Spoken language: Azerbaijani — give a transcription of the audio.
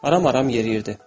Aram-aram yeriyirdi.